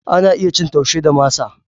Ana iya cin Taushe da masa.